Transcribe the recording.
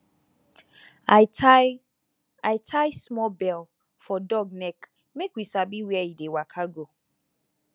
i tie i tie small bell for dog neck make we sabi where e dey waka go